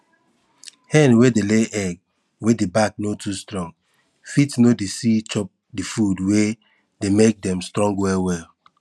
hen wey dey lay egg wey di back no too strong fit no dey see chop di food wey dey make dem strong well well